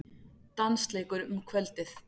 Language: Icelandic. Dansleikur um kvöldið.